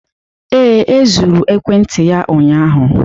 Ee, e zuru ekwentị ya ụnyaahụ.